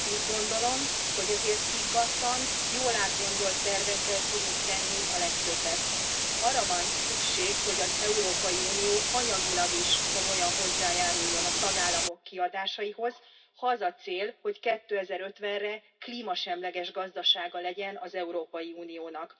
Úgy gondolom, hogy ezért higgadtan, jól átgondolt tervekkel tudunk tenni a legtöbbet. Arra van szükség, hogy az Európai Unió anyagilag is komolyan hozzájáruljon a tagállamok kiadásaihoz, ha az a cél, hogy 2050 re klímasemleges gazdasága legyen az Európai Uniónak.